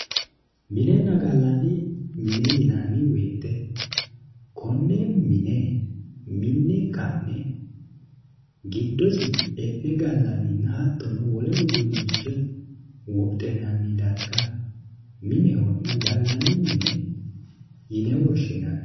Minenna gallanni mine yinnanni woyte kone mine mi'ne ka'ne giddosi e'ne gallaninna hattono wole uduunicho wodhinanni darga minehonna gallanni mine yinne woshshinanni.